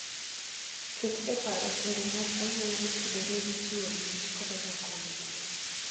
Ket e paro timbe mag anyuola motudore gi chiwo mich koda rwako welo.